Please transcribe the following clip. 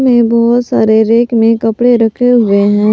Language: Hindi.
बहुत सारे रैक में कपड़े रखे हुए हैं।